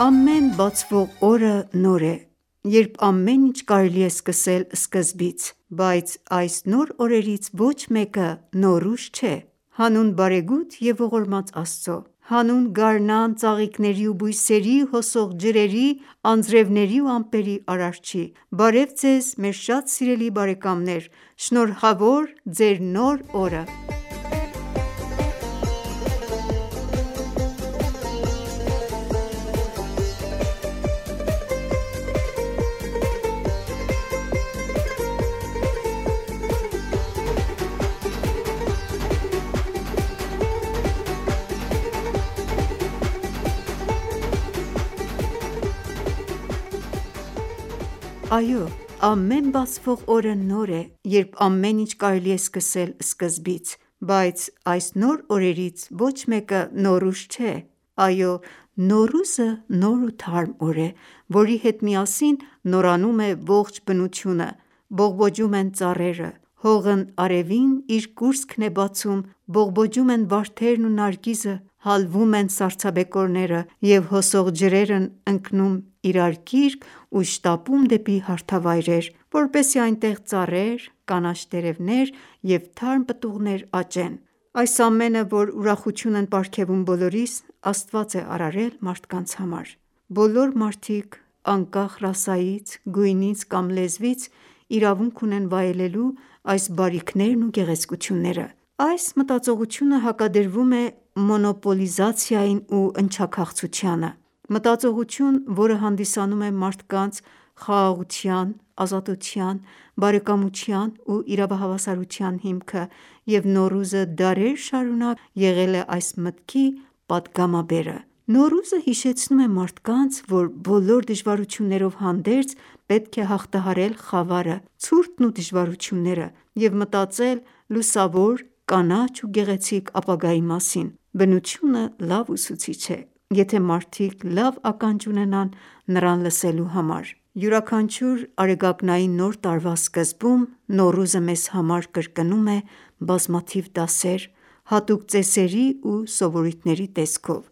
Ամեն բացվող օրը նոր է, երբ ամեն ինչ կարելի է սկսել սկզբից, բայց այս նոր օրերից ոչ մեկը Նոռուզ չէ։ Հանուն բարեգութ և ողորմած Աստծու։ Հանուն գարնան, ծաղիկների ու բույսերի, հոսող ջրերի, անձրների ու ամպերի Արարչի։ Բարև Ձեզ մեր շատ սիրելի բարեկամներ: Շնորհավոր Ձեր նոր օրը։ Այո, ամեն բացվող օրը նոր է, երբ ամեն ինչ կարելի է սկսել սկզբից, բայց այս նոր օրերից ոչ մեկը Նոռուզ չէ։ Այո, նոռուզը նոր ու թարմ օր է, որի հետ միասին նորանում է ողջ բնությունը։ Բողբողջում են ծառերը։ Հողն արևին իր կուրծքն է բացում, բողբոջում են վարդերն ու նարգիզը, հալվում են սառցաբեկորները և հոսող ջրերն ընկնում իրար գիրկ ու շտապում դեպի հարթավայրեր, որպեսզի այնտեղ ծառեր, կանաչ տերևներ և թարմ պտուղներ աճեն։ Այս ամենը որ ուրախություն են պարգևում բոլորիս, Աստված է արարել մարդկանց համար։ Բոլոր մարդիկ, անկախ ռասայից, գույնից կամ լեզվից, իրավունք ունեն վայելելու այս բարիքներն ու գեղեցկությունները։ Այս մտածողությունը հակադրվում է մոնոպոլիզացիային ու ընչաքաղցությանը։ Մտածողություն, որը հանդիսանում է մարդկանց խաղաղության, ազատության, բարեկամության ու իրավահավասարության հիմքը և Նոռուզը դարեր շարունակ եղել է այս մտքի պատգամաբերը։ Նոռուզը հիշեցնում է մարդկանց, որ բոլոր դժվարություններով հանդերձ, պետք է հաղթահարել խավարը, ցուրտն ու դժվարությունները և մտածել լուսավոր, կանաչ ու գեղեցիկ ապագայի մասին։ Բնությունը լավ ուսուցիչ է, եթե մարդիկ լավ ականջ ունենան նրան լսելու համար։ Յուրաքանչյուր արեգակնային Նոր տարվա սկզբում Նոռուզը մեզ համար կրկնում է բազմաթիվ դասեր՝ հատուկ ծեսերի ու սովորույթների տեսքով։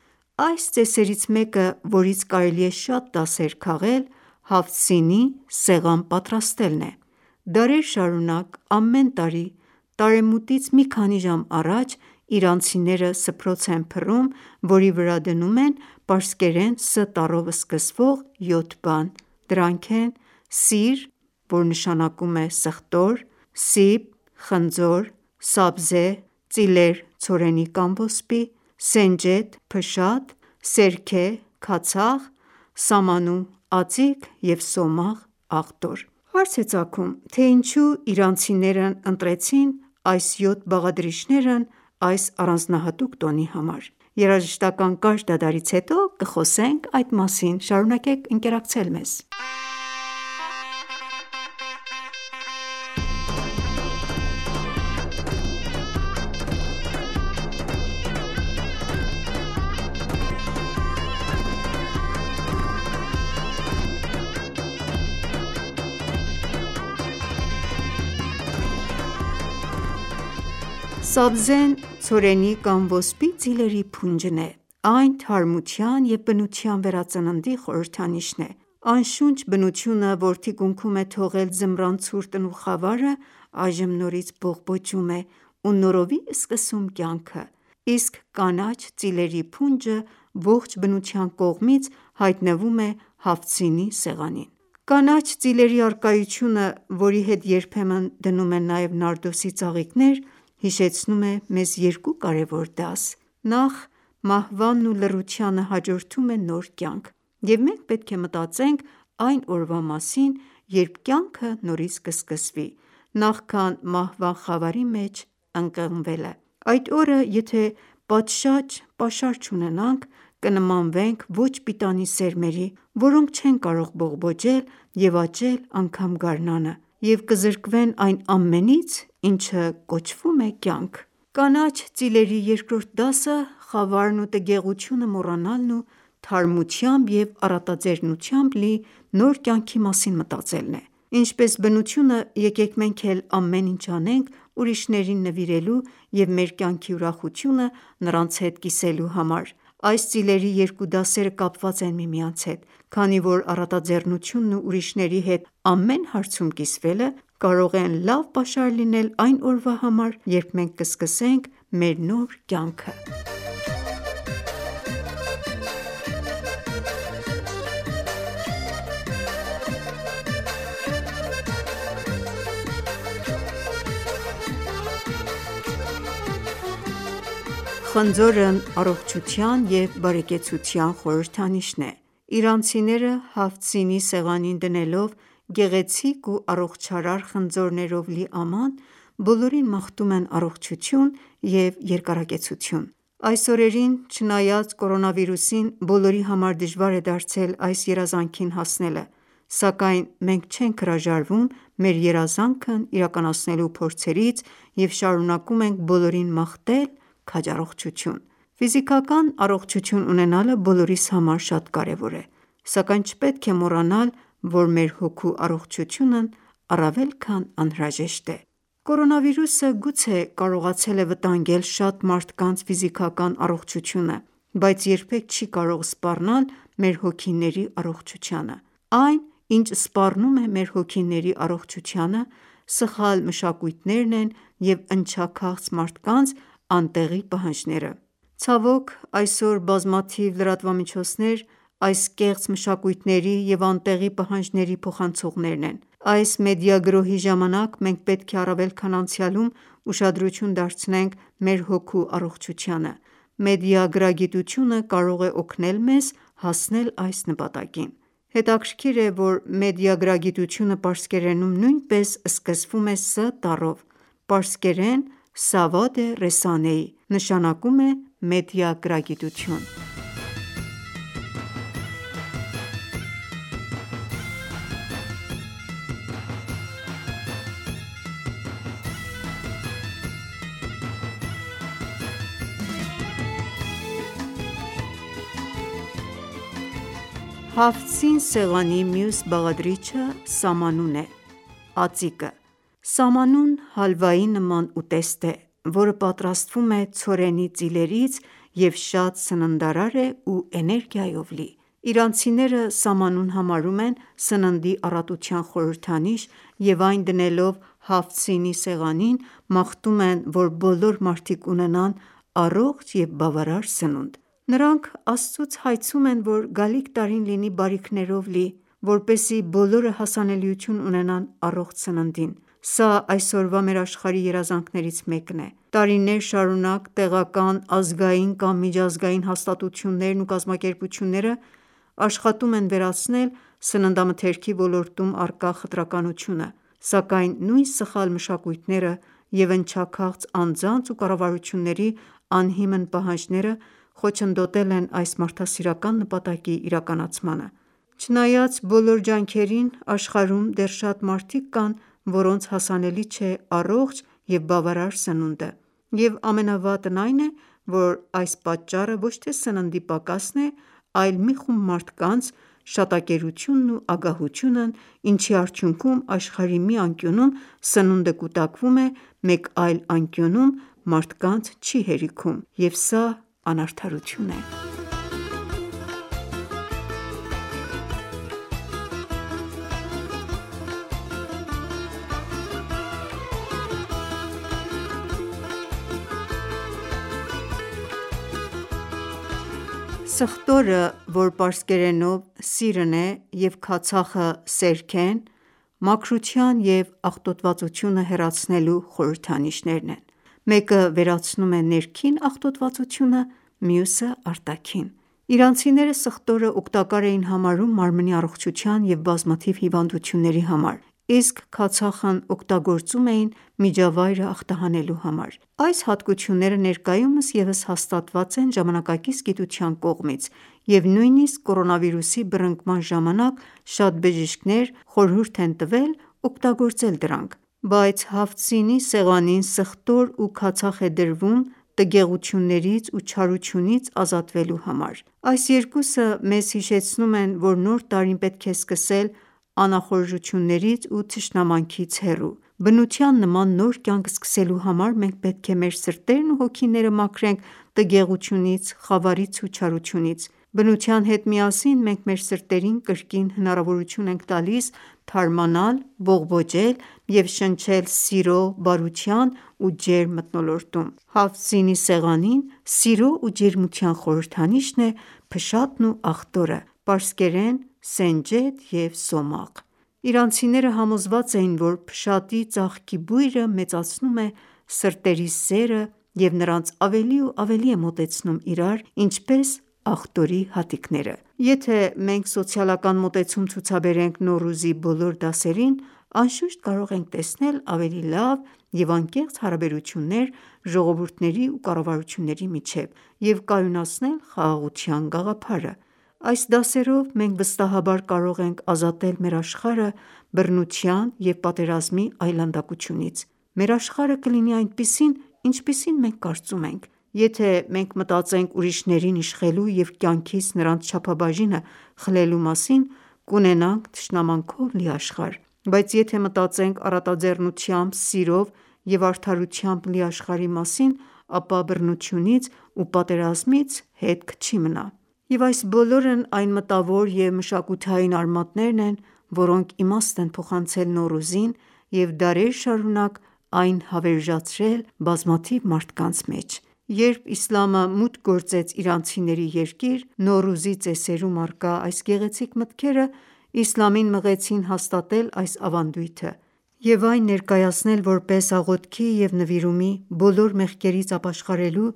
Այս ծեսերից մեկը, որից կարելի է շատ դասեր քաղել, «Հաֆթ սին»-ի սեղան պատրաստելն է։ Դարեր շարունակ ամեն տարի՝ տարեմուտից մի քանի ժամ առաջ, իրանցիները սփռոց են փռում, որի վրա դնում են պարսկերեն Ս տառով սկսվող յոթ բան: Դրանք են. (սիր) — սխտոր (սիբ) — խնձոր (սաբզե) — ծիլեր (ցորենի կամ ոսպի) (սենջեդ) — փշատ (սերքե) — քացախ (սամանու) — ածիկ (սոմաղ)-- աղտոր Հարց է ծագում, թե ինչո՞ւ իրանցիներն ընտրեցին այս յոթ բաղադրիչներն այս առանձնահատուկ տոնի համար: Երաժշտական կարճ դադարից հետո կխոսենք այդ մասին։ Սաբզեն ցորենի կամ ոսպի ծիլերի փունջն է։ Այն թարմության և բնության վերածննդի խորհրդանիշն է։ Անշունչ բնությունը, որ թիկունքում է թողել ձմռան ցուրտն ու խավարը, այժմ նորից բողբոջում է ու նորովի սկսում կյանքը, իսկ կանաչ ծիլերի փունջը, ողջ բնության կողմից, հայտնվում է «Հաֆթ սին»-ի սեղանին։ Կանաչ ծիլերի առկայությունը, որի հետ երբեմն դնում են նաև նարդոսի ծաղիկներ, հիշեցնում է մեզ երկու կարևոր դաս։ Նախ՝ մահվանն ու լռությանը հաջորդում է նոր կյանք, և մենք պետք է մտածենք այն օրվա մասին, երբ կյանքը նորից կսկսվի, նախքան մահվան խավարի մեջ ընկղմվելը: Այդ օրը, եթե պատշաճ պաշար չունենանք, կնմանվենք ոչ-պիտանի սերմերի, որոնք չեն կարող բողբոջել և աճել անգամ գարնանը և կզրկվեն այն ամենից, ինչը կոչվում է կյանք։ Կանաչ ծիլերի երկրորդ դասը խավարն ու տգեղությունը մոռանալն ու թարմությամբ և առատաձեռնությամբ լի նոր կյանքի մասին մտածելն է։ Ինչպես բնությունը, եկեք մենք էլ ամեն ինչ անենք ուրիշներին նվիրելու և մեր կյանքի ուրախությունը նրանց հետ կիսելու համար: Այս ծիլերի երկու դասերը կապված են միմյանց հետ, քանի որ առատաձեռնությունն ու ուրիշների հետ ամեն հարցում կիսվելը կարող են լավ պաշար լինել այն օրվա համար, երբ մենք կսկսենք մեր նոր կյանքը: Խնձորն առողջության և բարեկեցության խորհրդանիշն է։ Իրանցիները «Հաֆթ սին»-ի սեղանին դնելով գեղեցիկ ու առողջարար խնձորներով լի աման, բոլորին մաղթում են առողջություն և երկարակեցություն։ Այս օրերին, չնայած կորոնավիրուսին, բոլորի համար դժվար է դարձել այս երազանքին հասնելը, սակայն մենք չենք հրաժարվում մեր երազանքն իրականացնելու փորձերից և շարունակում ենք բոլորին մաղթել քաջառողջություն։ Ֆիզիկական առողջություն ունենալը բոլորիս համար շատ կարևոր է, սակայն չպետք է մոռանալ, որ մեր հոգու առողջությունն առավել քան անհրաժեշտ է։ Կորոնավիրուսը գուցե կարողացել է վտանգել շատ մարդկանց ֆիզիկական առողջությունը, բայց երբեք չի կարող սպառնալ մեր հոգիների առողջությանը։ Այն, ինչ սպառնում է մեր հոգիների առողջությանը, սխալ մշակույթներն են և ընչաքաղց մարդկանց անտեղի պահանջները: Ցավոք ժ, այսօր բազմաթիվ լրատվամիջոցներ այս կեղծ մշակույթների և անտեղի պահանջների փոխանցողներն են: Այս մեդիա գրոհի ժամանակ մենք պետք է առավել քան անցյալում, ուշադրություն դարձնենք մեր հոգու առողջությանը: Մեդիագրագիտությունը կարող է օգնել մեզ հասնել այս նպատակին: Հետաքրքիր է, որ մեդիագրագիտությունը պարսկերենում նույնպես սկսվում է «Ս» տառով։ Պարսկերեն «Սավադե ռեսանեի» նշանակում է մեդիագրագիտություն: «Հաֆթ սին» սեղանի մյուս բաղադրիչը Սամանուն (ածիկ) է։ Սամանուն հալվայի նման ուտեստ է, որը պատրաստվում է ցորենի ծիլերից և շատ սննդարար է ու էներգիայով լի։ Իրանցիները սամանուն համարում են սննդի առատության խորհրդանիշ և այն դնելով «Հաֆթ սին»-ի սեղանին՝ մաղթում են, որ բոլոր մարդիկ ունենան առողջ և բավարար սնունդ։ Նրանք Աստծուց հայցում են, որ գալիք տարին լինի բարիքներով լի, որպեսզի բոլորը հասանելիություն ունենան առողջ սննդին։ Սա այսօրվա մեր աշխարհի երազանքներից մեկն է։ Տարիներ շարունակ տեղական, ազգային կամ միջազգային հաստատություններն ու կազմակերպությունները աշխատում են վերացնել սննդամթերքի ոլորտում առկա խտրականությունը, սակայն նույն սխալ մշակույթները և ընչաքաղց անձանց ու կառավարությունների անհիմն պահանջները խոչընդոտել են այս մարդասիրական նպատակի իրականացմանը: Չնայած բոլոր ջանքերին, աշխարհում դեռ շատ մարդիկ կան, որոնց հասանելի չէ առողջ և բավարար սնունդը, և ամենավատն այն է, որ այս պատճառը ոչ թե սննդի պակասն է, այլ մի խումբ մարդկանց շատակերությունն ու ագահությունն ինչի արդյունքում աշխարհի մի անկյունում սնունդը կուտակվում է, մեկ այլ անկյունում մարդկանց չի հերիքում: Եվ սա անարդարություն է: Սխտորը, որ պարսկերենով սիրն է և քացախը՝ սերքեն, մաքրության և աղտոտվածությունը հեռացնելու խորհրդանիշներն են: Մեկը վերացնում է ներքին աղտոտվածությունը, մյուսը՝ արտաքին։ Իրանցիները սխտորը օգտակար էին համարում մարմնի առողջության և բազմաթիվ հիվանդությունների համար, իսկ քացախն օգտագործում էին միջավայրը ախտահանելու համար։ Այս հատկությունները ներկայումս ևս հաստատված են ժամանակակից գիտության կողմից, և նույնիսկ կորոնավիրուսի բռնկման ժամանակ, շատ բժիշկներ խորհուրդ են տվել օգտագործել դրանք: Բայց «Հաֆթ սին»-ի սեղանին սխտոր ու քացախ է դրվում տգեղություններից ու չարությունից ազատվելու համար։ Այս երկուսը մեզ հիշեցնում են, որ նոր տարին պետք է սկսել անախորժություններից ու թշնամանքից հեռու։ Բնության նման նոր կյանք սկսելու համար, մենք պետք է մեր սրտերն ու հոգիները մաքրենք տգեղությունից, խավարից ու չարությունից: Բնության հետ միասին մենք մեր սրտերին կրկին հնարավորություն ենք տալիս թարմանալ, բողբոջել և շնչել սիրո, բարության ու ջերմ մթնոլորտում: «Հաֆթ սին»-ի սեղանին սիրո ու ջերմության խորհրդանիշն է փշատն ու աղտորը՝ պարսկերեն՝ սենջեդ և սոմաղ։ Իրանցիները համոզված էին, որ փշատի ծաղկի բույրը մեծացնում է սրտերի սերը և նրանց ավելի ու ավելի է մոտեցնում իրար, ինչպես աղտորի հատիկները: Եթե ​​մենք սոցիալական մոտեցում ցուցաբերենք Նոռուզի բոլոր դասերին, անշուշտ, կարող ենք տեսնել ավելի լավ և անկեղծ հարաբերություններ ժողովուրդների ու կառավարությունների միջև, և կայունացնել խաղաղության գաղափարը: Այս դասերով մենք վստահաբար կարող ենք ազատել մեր աշխարհը բռնության և պատերազմի այլանդակությունից: Մեր աշխարհը կլինի այնպիսին, ինչպիսին մենք կարծում ենք: Եթե ​​մենք մտածենք ուրիշներին իշխելու և կյանքից նրանց չափաբաժինը խլելու մասին, կունենանք թշնամանքով լի աշխարհ, բայց եթե մտածենք առատաձեռնությամբ, սիրով և արդարությամբ լի աշխարհի մասին, ապա բռնությունից ու պատերազմից հետք չի մնա: Եվ այս բոլորն այն մտավոր և մշակութային արմատներն են, որոնք իմաստ են փոխանցել Նոռուզին և դարեր շարունակ այն հավերժացրել բազմաթիվ մարդկանց մեջ: Երբ իսլամը մուտք գործեց իրանցիների երկիր, նոռուզի ծեսերում առկա այս գեղեցիկ մտքերը իսլամին մղեցին հաստատել այս ավանդույթը և այն ներկայացնել որպես աղոթքի և նվիրումի, բոլոր մեղքերից ապաշխարելու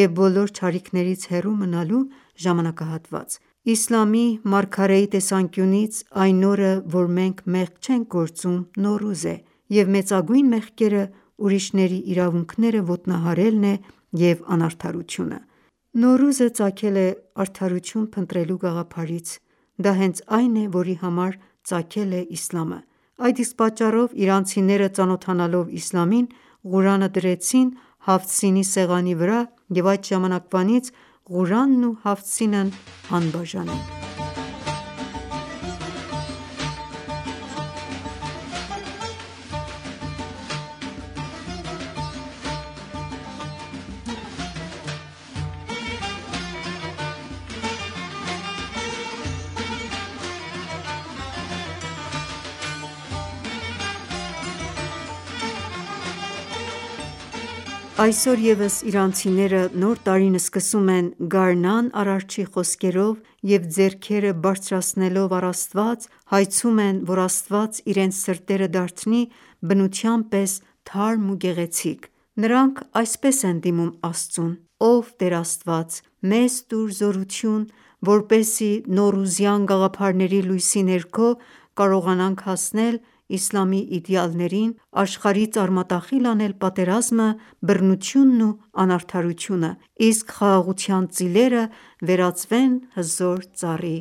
և բոլոր չարիքներից հեռու մնալու ժամանակահատված: Իսլամի մարգարեի (խաղաղություն և Ալլահի օրհնությունը լինի նրա վրա) տեսանկյունից՝ այն օրը, որ մենք մեղք չենք գործում, Նոռուզ է, և մեծագույն մեղքերը՝ ուրիշների իրավունքները ոտնահարելն է և անարդարությունը: Նոռուզը ծագել է արդարություն փնտրելու գաղափարից, դա հենց այն է, որի համար ծագել է իսլամը: Այդ իսկ պատճառով իրանցիները, ծանոթանալով իսլամին, Ղուրանը դրեցին «Հաֆթ սին»-ի սեղանի վրա, և այդ ժամանակվանից Ղուրանն ու «Հաֆթ սին»-ն անբաժան են: Այսօր ևս իրանցիները Նոր տարին սկսում են գարնան Արարչի խոսքերով և ձեռքերը բարձրացնելով առ Աստված, հայցում են, որ Աստված իրենց սրտերը դարձնի բնության պես թարմ ու գեղեցիկ։ Նրանք այսպես են դիմում Աստծուն. «Ով Տեր Աստված, մեզ տուր զորություն, որպեսզի նոռուզյան գաղափարների լույսի ներքո կարողանանք հասնել իսլամի իդեալներին, աշխարհից արմատախիլ անել պատերազմը, բռնությունն ու անարդարությունը, իսկ խաղաղության ծիլերը վերածվեն հզոր ծառի: